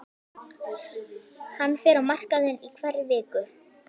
Hann fer á markaðinn í hverri viku.